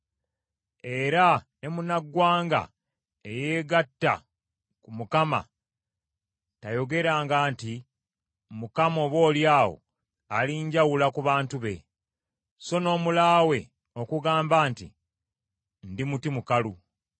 Era ne munnaggwanga eyeegatta ku Mukama tayogeranga nti, “ Mukama , oboolyawo alinjawula ku bantu be,” so n’omulaawe okugamba nti, “Ndi muti mukalu.”